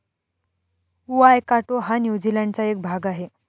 Waikato हा न्यूझीलँडचा एक भाग आहे.